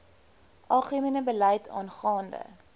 algemene beleid aangaande